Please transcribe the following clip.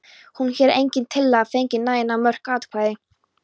Hér hefur engin tillaga fengið nægjanlega mörg atkvæði.